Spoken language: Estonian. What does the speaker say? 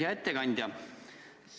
Hea ettekandja!